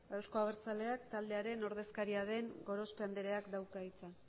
euzko abertzaleak taldearen ordezkaria den gorospe andreak dauka hitza